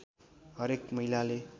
हरेक महिलाले